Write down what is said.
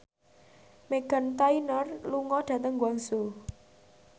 Meghan Trainor lunga dhateng Guangzhou